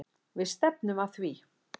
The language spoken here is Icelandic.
Við stefnum að því.